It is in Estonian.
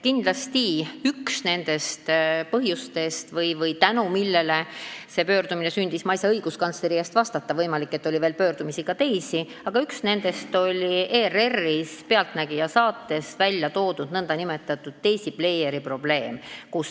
Kindlasti üks nendest põhjustest, tänu millele see sündis – ma ei saa õiguskantsleri eest vastata, võimalik, et oli veel ka teisi pöördumisi –, oli ERR-is "Pealtnägija" saates välja toodud nn Daisy-pleieri probleem.